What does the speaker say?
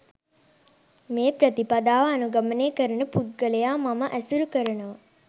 මේ ප්‍රතිපදාව අනුගමනය කරන පුද්ගලයා මම ඇසුරු කරනවා.